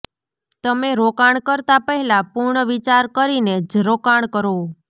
તમે રોકાણ કરતાં પહેલાં પૂર્ણ વિચાર કરીને જ રોકાણ કરો